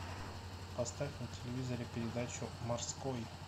поставь на телевизоре передачу морской